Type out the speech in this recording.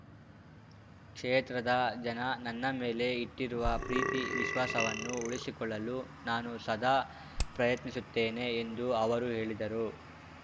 ಕ್ಷೇತ್ರದ ಜನ ನನ್ನ ಮೇಲೆ ಇಟ್ಟಿರುವ ಪ್ರೀತಿ ವಿಶ್ವಾಸವನ್ನು ಉಳಿಸಿಕೊಳ್ಳಲು ನಾನು ಸದಾ ಪ್ರಯತ್ನಿಸುತ್ತೇನೆ ಎಂದು ಅವರು ಹೇಳಿದರು